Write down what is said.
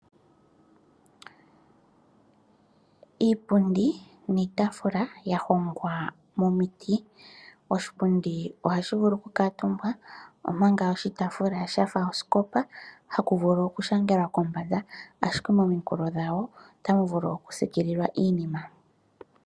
Iipundi niitaafula ya hongwa momiti, oshipundi oha shi vulu oku kaatumbwa ompanga oshitaafula shafa osikopa, ha ku vulu oku shangelwa kombanda, ashike mominkulo dhawo ota mu vulu oku siikililwa iinima.